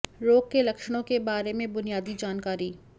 रोग के लक्षणों के बारे में बुनियादी जानकारी